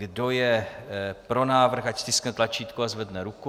Kdo je pro návrh, ať stiskne tlačítko a zvedne ruku.